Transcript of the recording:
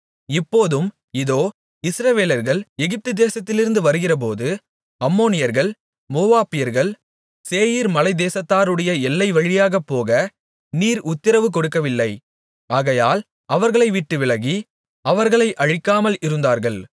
இப்போதும் இதோ இஸ்ரவேலர்கள் எகிப்து தேசத்திலிருந்து வருகிறபோது அம்மோனியர்கள் மோவாபியர்கள் சேயீர் மலைத்தேசத்தாருடைய எல்லைகள் வழியாகப் போக நீர் உத்திரவு கொடுக்கவில்லை ஆகையால் அவர்களைவிட்டு விலகி அவர்களை அழிக்காமல் இருந்தார்கள்